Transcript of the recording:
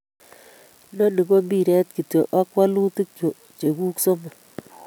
Inoni ko mpiret kityo ak wolutik cheguk somok